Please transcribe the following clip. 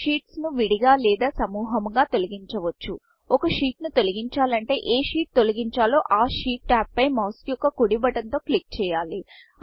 sheets షీట్స్ను విడిగా లేదా సముహముగా తొలగించవచ్చు ఒక sheetషీట్ ను తొలగించాలంటే ఏ షీట్ షీట్తొలగించాలో ఆ షీట్ tabషీట్ ట్యాబ్ పై మౌస్ యొక్క కుడి బటన్ తో క్లిక్ చేయాలి